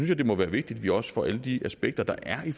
jeg det må være vigtigt at vi også får alle de aspekter der er i